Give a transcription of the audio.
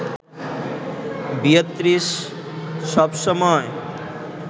Beatrice সবসময়